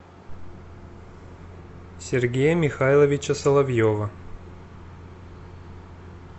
сергея михайловича соловьева